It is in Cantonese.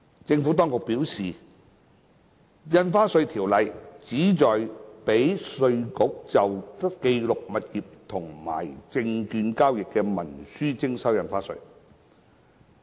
政府當局表示，《條例》旨在讓稅務局就記錄物業和證券交易的文書徵收印花稅。